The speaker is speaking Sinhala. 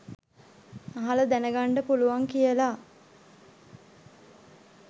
අහලා දැන ගන්ඩ පුලුවන් කියලා